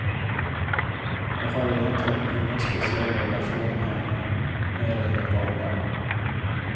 Jag har egentligen ingen speciell relation med henne mer än den vanliga.